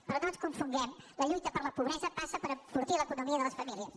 però no ens confonguem la lluita per la pobresa passa per enfortir l’economia de les famílies